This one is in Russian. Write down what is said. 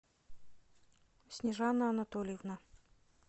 снежана анатольевна